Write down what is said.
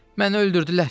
Məni öldürdülər.